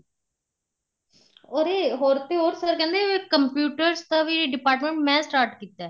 ਉਹਦੇ ਹੋਰ ਤੇ ਹੋਰ sir ਕਹਿੰਦੇ computers ਦਾ ਵੀ department ਮੈਂ start ਕੀਤਾ